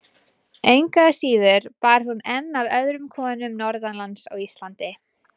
Engu að síður bar hún enn af öðrum konum norðanlands á Íslandi.